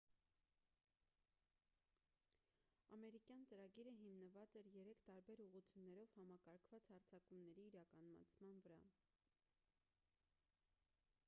ամերիկյան ծրագիրը հիմնված էր երեք տարբեր ուղղություններով համակարգված հարձակումների իրականացման վրա